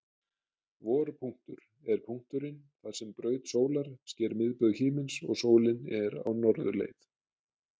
Vorpunktur er punkturinn þar sem braut sólar sker miðbaug himins og sólin er á norðurleið.